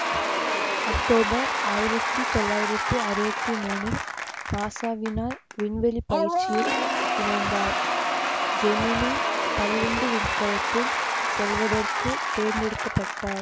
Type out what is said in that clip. October ஆயிரத்தி தொள்ளாயிரத்தி அறுவத்தி மூனில் நாசாவினால் விண்வெளி பயிற்சியில் இணைந்தார் ஜெமினி பனிரெண்டு விண்கலத்தில் செல்வதற்கு தேர்ந்தெடுக்க பட்டார்